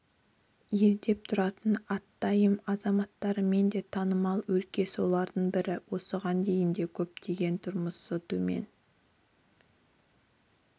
елеңдеп тұратын атымтай азаматтарымен де танымал өлке солардың бірі осыған дейін де көптеген тұрмысы төмен